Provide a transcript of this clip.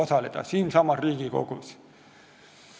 See leidis aset siinsamas Riigikogus.